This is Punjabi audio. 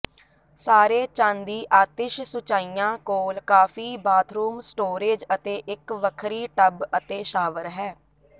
ਸਾਰੇ ਚਾਂਦੀ ਆਤਿਸ਼ ਸੁਚਾਈਆਂ ਕੋਲ ਕਾਫੀ ਬਾਥਰੂਮ ਸਟੋਰੇਜ ਅਤੇ ਇਕ ਵੱਖਰੀ ਟੱਬ ਅਤੇ ਸ਼ਾਵਰ ਹੈ